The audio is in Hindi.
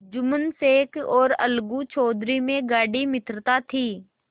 जुम्मन शेख और अलगू चौधरी में गाढ़ी मित्रता थी